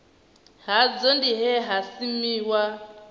hadzo ndi he ha simuwa